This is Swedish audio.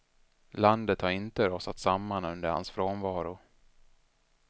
Landet har inte rasat samman under hans frånvaro.